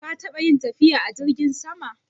Ka taɓa yin tafiya a jirgin sama.